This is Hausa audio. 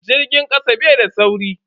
Jirgin kasa bai da sauri.